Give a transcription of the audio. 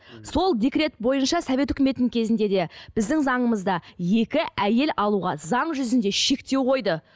сол декрет бойынша совет өкіметінің кезінде де біздің заңымызда екі әйел алуға заң жүзінде шектеу қойды